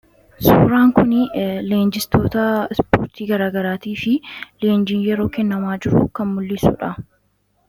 Suuraan kun leenjistoota ispoortii garaagaraa fi leenjii garaagaraa kennamaa jiru kan mul'dhisudha.